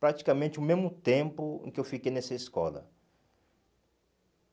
Praticamente o mesmo tempo em que eu fiquei nessa escola.